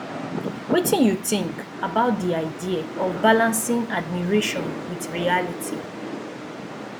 wetin you think about di idea of balancing admiration with reality